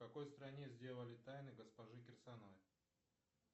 в какой стране сделали тайны госпожи кирсановой